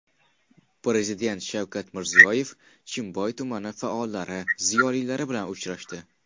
Prezident Shavkat Mirziyoyev Chimboy tumani faollari, ziyolilari bilan uchrashdi.